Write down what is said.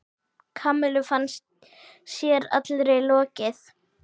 Kamillu fannst sér allri lokið.